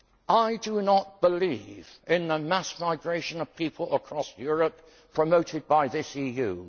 I do not believe in the mass migration of people across Europe promoted by this EU.